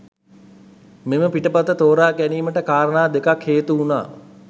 මෙම පිටපත තෝරා ගැනීමට කාරණා දෙකක් හේතු වුණා.